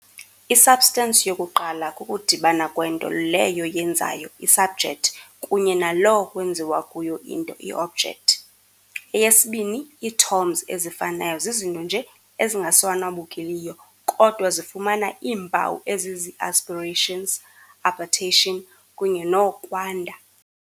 I-substance yokuqala kukudibana kwento leyo yenzayo i-subject kunye naloo kwenziwa kuyo into, i-object, eyesibini - ii-toms ezifanayo zizinto nje ezingasanwabukiliyo, kodwa zifumana iimpawu eziziiaspirations, appetition, kunye no-kwanda.